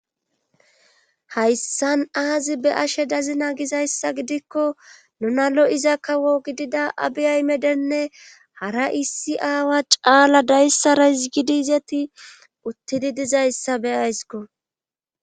hayssan aazi be ashe dazina gizayssa gidikko nuna lo7iza kawo gidida abiyaymedenne hara issi aawa caala dayssarais gidi izeti uttidi dizayssa beyaysko